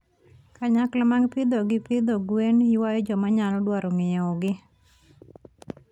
Kanyakla mag pidho gi pidho gwen, ywayo joma nyalo dwaro ng'iewogi.